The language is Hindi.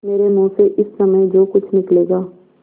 मेरे मुँह से इस समय जो कुछ निकलेगा